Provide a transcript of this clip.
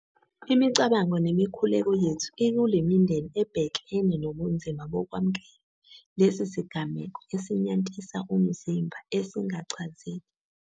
Imicabango nemikhuleko yethu ikule mindeni ebhekene nobunzima bokwamukela lesi sigameko esinyantisa umzimba esingachazeki.